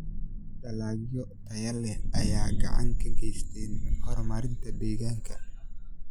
Dalagyo tayo leh ayaa gacan ka geysta horumarinta deegaanka.